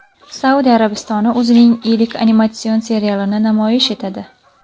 Saudiya Arabistoni o‘zining ilk animatsion serialini namoyish etadi .